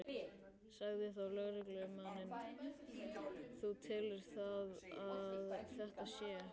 Sagði þá lögreglumaðurinn: Þú telur það að þetta sé?